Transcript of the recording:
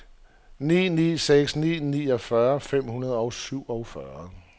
ni ni seks ni niogfyrre fem hundrede og syvogfyrre